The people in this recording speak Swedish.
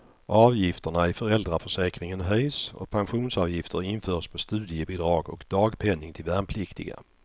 Avgifterna i föräldraförsäkringen höjs, och pensionsavgifter införs på studiebidrag och dagpenning till värnpliktiga.